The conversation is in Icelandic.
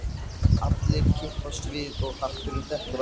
Allir kippast við og hatturinn dettur af